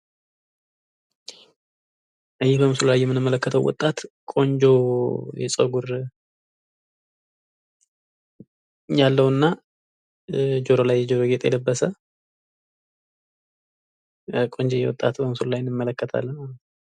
ይህ በምስሉ ላይ የምንመለክተው ወጣት ቆንጆ የጸጉር ያለዉና ጆሮው ላይ የጆሮ ጌጥ የለበሰ ቆንጅየ ወጣት በምስሉ ላይ እንመለከታለን።